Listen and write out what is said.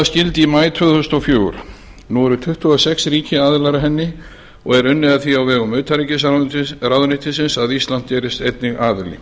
í maí tvö þúsund og fjögur nú eru tuttugu og sex ríki aðilar að henni og er unnið að því á vegum utanríkisráðuneytisins að ísland gerist einnig aðili